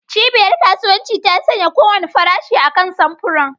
Cibiyar kasuwanci ta sanya kowane farashi akan samfuran.